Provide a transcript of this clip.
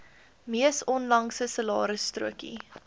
mees onlangse salarisstrokie